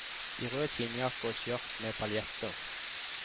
I rød skinnjakke og et skjørt med paljetter.